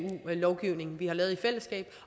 lovgivning vi har lavet i fællesskab